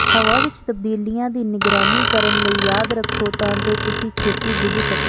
ਹਵਾ ਵਿਚ ਤਬਦੀਲੀਆਂ ਦੀ ਨਿਗਰਾਨੀ ਕਰਨ ਲਈ ਯਾਦ ਰੱਖੋ ਤਾਂ ਜੋ ਤੁਸੀਂ ਛੇਤੀ ਬੁੱਝ ਸਕੋ